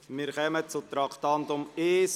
Wir kommen zum Traktandum 1.